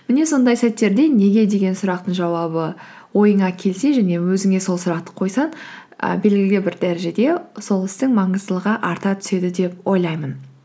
міне сондай сәттерде неге деген сұрақтың жауабы ойыңа келсе және өзіңе сол сұрақты қойсаң і белгілі бір дәрежеде сол істің маңыздылығы арта түседі деп ойлаймын